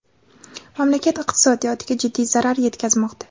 mamlakat iqtisodiyotiga jiddiy zarar yetkazmoqda.